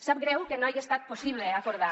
sap greu que no hagi estat possible acordar